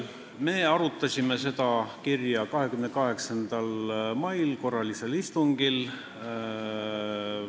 Me arutasime seda kirja 28. mai korralisel istungil.